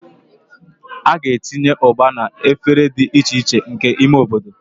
A ga-etinye Ugba na efere dị iche iche nke ime obodo.